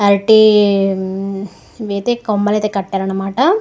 అరటీ ఈవైతే కొమ్మలు అయితే కట్టారు అన్నమాట.